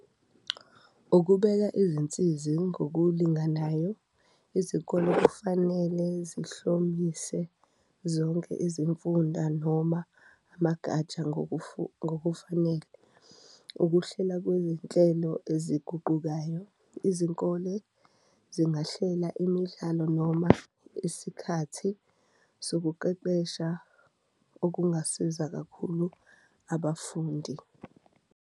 Ukubeka izinsizi ngokulinganayo, izikole kufanele zihlomulise zonke izimfunda noma amagatsha ngokufanele, ukuhlela kweyinhlelo eziguqukayo, izikole zingahlela imidlalo noma isikhathi sokuqeqesha okungasiza kakhulu abafundi.